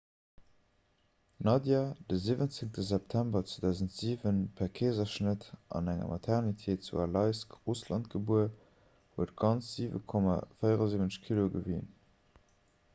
d'nadia de 17. september 2007 per keeserschnëtt an enger maternité zu aleisk russland gebuer huet ganz 7,74 kilo gewien